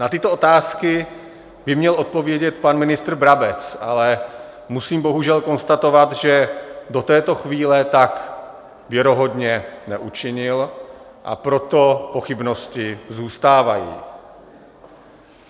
Na tyto otázky by měl odpovědět pan ministr Brabec, ale musím bohužel konstatovat, že do této chvíle tak věrohodně neučinil, a proto pochybnosti zůstávají.